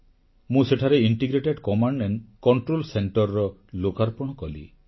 ମୁଁ ସେଠାରେ ସମନ୍ୱିତ କମାଣ୍ଡ ଓ କଂଟ୍ରୋଲ ସେଂଟରକୁ ଲୋକାର୍ପଣ କଲି